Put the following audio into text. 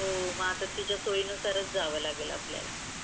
हो आता तिचा सोयी नुसार जावा लागेल आपल्याला.